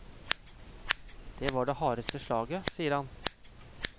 Det var det hardeste slaget, sier han.